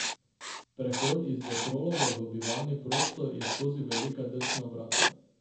Prehod iz vetrolova v bivalni prostor je skozi velika drsna vrata.